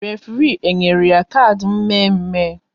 Référé e nyere ya kard mme mme?